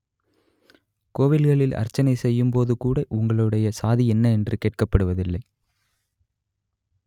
கோவில்களில் அர்ச்சனை செய்யும்போது கூட உங்களுடைய சாதி என்ன என்று கேட்கப்படுவதில்லை